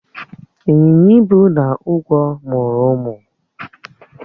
B. Ịnyịnya ibu na ugwó mụrụ ụmụ